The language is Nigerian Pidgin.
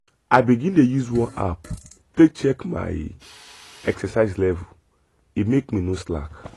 i begin dey use one app take check my exercise level e make me no slack.